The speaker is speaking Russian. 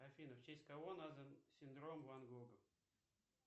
афина в честь кого назван синдром ван гога